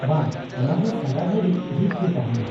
-ᱵᱟᱝ ,ᱚᱱᱟ ᱫᱚ ᱥᱟᱨᱟ ᱜᱷᱩᱲᱤᱡ ᱡᱷᱤᱡ ᱜᱮ ᱛᱟᱦᱮᱸᱱᱟ ᱾